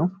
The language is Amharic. ነው ።